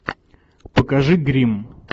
покажи гримм